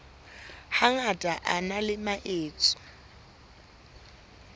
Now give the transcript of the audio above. hangata a na le metso